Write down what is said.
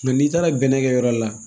Nka n'i taara bɛnnɛkɛ yɔrɔ la